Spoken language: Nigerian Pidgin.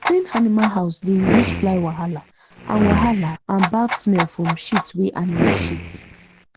clean animal house dey reduce fly wahala and wahala and bad smell from shit wey animal shit